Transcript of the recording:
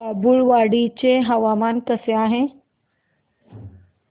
बाभुळवाडी चे हवामान कसे आहे